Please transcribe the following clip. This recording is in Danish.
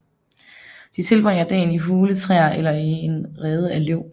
De tilbringer dagen i hule træer eller i en rede af løv